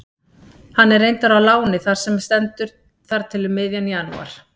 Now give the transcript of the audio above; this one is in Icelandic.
Hann er reyndar á láni þar sem stendur þar til um miðjan janúar.